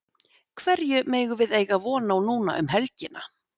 Hverju megum við eiga von á núna um helgina?